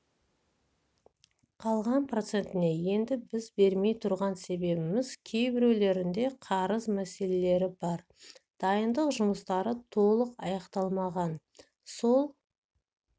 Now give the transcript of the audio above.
қалған процентіне енді біз бермей тұрған себебеміз кейбіреулерінде қарыз мәселелері бар дайындық жұмыстары толық аяқталмаған сол